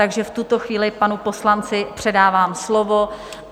Takže v tuto chvíli panu poslanci předávám slovo.